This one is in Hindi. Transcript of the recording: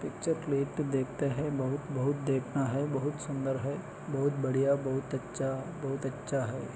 पिक्चर क्लीट देखते है बहुत बहुत देखना है बहुत सुंदर है बहुत बढ़ियाँ बहुत अच्छा बहुत अच्छा है।